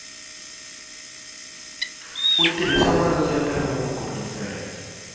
u tirhisa maletere lamakulu ntsena